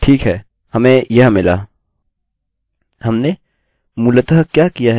हमने मूलतः क्या किया है कि हमें वही एरर error सूचना को एकोecho किया जो php से किसी तरह से मिली थी